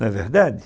Não é verdade?